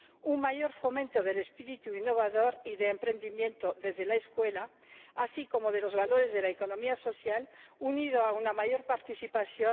Un mayor fomento del espíritu innovador y de emprendimiento desde la escuela, así como de los valores de la economía social, unido a una mayor participación.